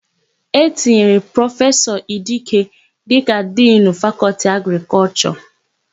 E tinyere Prọfesọ Idike dịka Dinu Fakọltị Agrịkọlshọ.